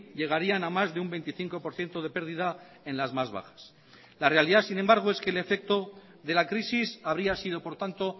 llegarían a más de un veinticinco por ciento de pérdida en las más bajas la realidad sin embargo es que el efecto de la crisis habría sido por tanto